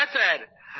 হ্যাঁ স্যার